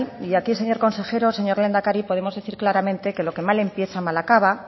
y aquí señor consejero señor lehendakari podemos decir claramente que lo que mal empieza mal acaba